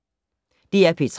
DR P3